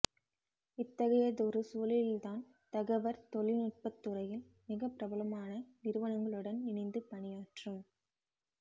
இத்தகையதொரு சூழலில்தான் தகவற் தொழில்நுட்பத் துறையில் மிகப்பிரபலமான நிறுவனங்களுடன் இனைந்து பணியாற்றும்